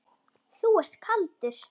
Þú ert kaldur!